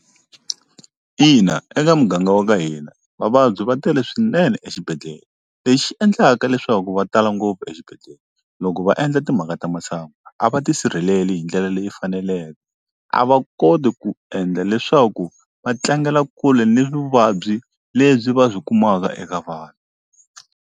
Ina eka muganga wa ka hina vavabyi va tele swinene exibedhlele lexi endlaka leswaku va tala ngopfu exibedhlele loko va endla timhaka ta masangu a va tisirheleli hi ndlela leyi faneleke a va koti ku endla leswaku va tlangela kule ni vuvabyi lebyi va byi kumaka eka vanhu.